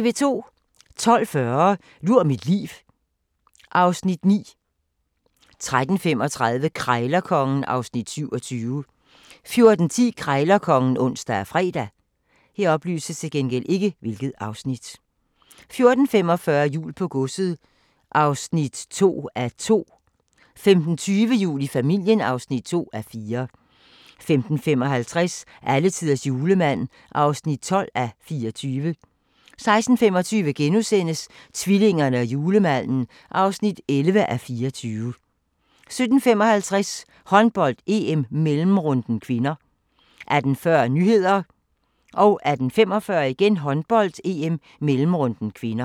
12:40: Lur mit liv (Afs. 9) 13:35: Krejlerkongen (Afs. 27) 14:10: Krejlerkongen (ons og fre) 14:45: Jul på godset (2:2) 15:20: Jul i familien (2:4) 15:55: Alletiders julemand (12:24) 16:25: Tvillingerne og julemanden (11:24)* 17:55: Håndbold: EM - mellemrunden (k) 18:40: Nyhederne 18:45: Håndbold: EM - mellemrunden (k)